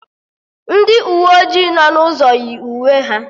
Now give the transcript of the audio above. Ndị uwe ojii nọ n'ụzọ yi uwe ha